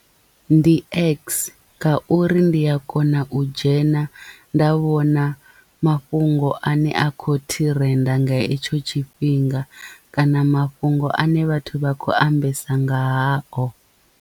Ndi x ngauri ndi a kona u dzhena nda vhona mafhungo ane a kho thirenda nga hetsho tshifhinga kana mafhungo ane vhathu vha khou ambesa nga hao.